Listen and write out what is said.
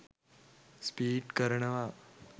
Speedy කරනවා.